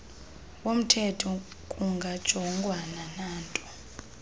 womthetho kungajongwanga nanto